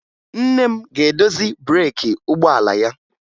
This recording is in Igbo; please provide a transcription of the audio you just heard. Nne m ga-edozi breeki ụgbọala ya